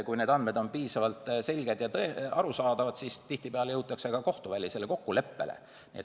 Kui need andmed on piisavalt selged ja arusaadavad, siis tihtipeale jõutakse ka kohtuvälisele kokkuleppele.